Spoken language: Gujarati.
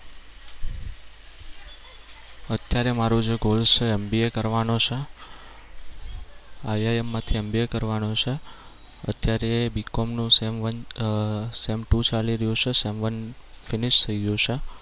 અત્યારે જે મારુ goal છે એ MBA કરવાનો છે. IIM માંથી MBA કરવાનો છે. અત્યારે BCOM નું sem one અમ sem two ચાલી રહ્યું છે sem one finish થઈ ગયું છે.